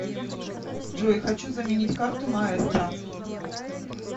джой хочу заменить карту маестро